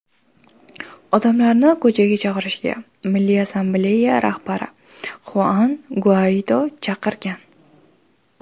Odamlarni ko‘chaga chiqishga Milliy assambleya rahbari Xuan Guaido chaqirgan.